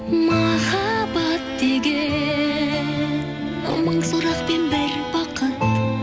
махаббат деген мың сұрақ пен бір бақыт